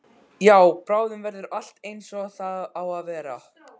Já, bráðum verður allt einsog það á að vera.